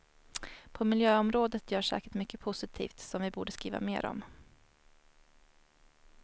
På miljöområdet görs säkert mycket positivt som vi borde skriva mer om.